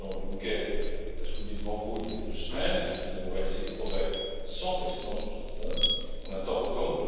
Le président Juncker l'a souligné devant vous il y a deux semaines nous avons réalisé des progrès sans précédent sur ce front en un temps record.